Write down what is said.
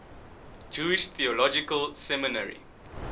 jewish theological seminary